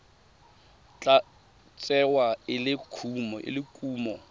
tla tsewa e le kumo